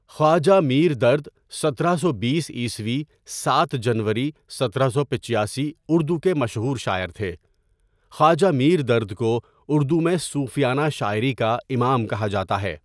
خواجہ میر درد سترہ سو بیس عیسوی سات جنوری ستارہ سو پچاسی اردو کے مشہور شاعر تھے خواجہ میر درد ؔکو اردو میں صوفیانہ شاعری کا امام کہا جاتا ہے.